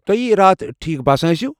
توہہِ ہییہ راتھ ٹھیٖک باسان ٲسِوٕ ۔